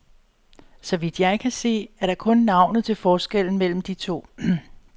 Så vidt jeg kan se, er der kun navnet til forskel mellem de to.